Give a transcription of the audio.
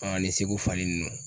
ani segu fali ninnu